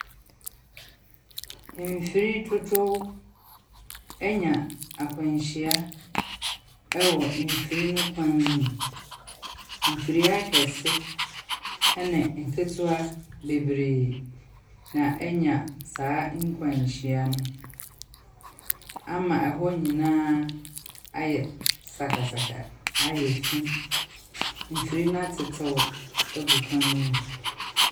Mfiri dodow anya akwanhyia wɔ mfiri no kwan mu. Mfiri akɛse ne nketewa bebree na anya saa nkwanhyia no ama ɛhɔ nyinaa ayɛ sakasaka; ayɛ fi. Mfiri no atetew agu kwan no mu.